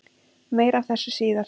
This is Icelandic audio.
Meira af þessu síðar.